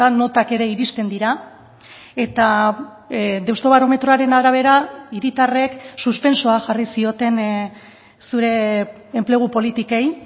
notak ere iristen dira eta deustobarometroaren arabera hiritarrek suspentsoa jarri zioten zure enplegu politikei